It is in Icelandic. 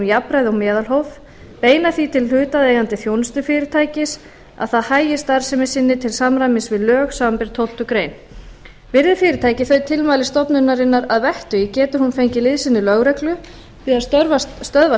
jafnræði og meðalhóf beina því til hlutaðeigandi þjónustufyrirtækis að það hagi starfsemi sinni til samræmis við lög samanber tólftu greinar virði fyrirtækið þau tilmæli stofnunarinnar að vettugi getur hún fengið liðsinni lögreglu við að stöðva